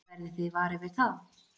Verðið þið varir við það?